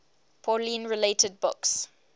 pauline related books